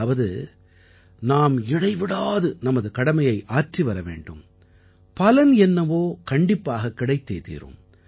அதாவது நாம் இடைவிடாது நமது கடமையை ஆற்றிவர வேண்டும் பலன் என்னவோ கண்டிப்பாகக் கிடைத்தே தீரும்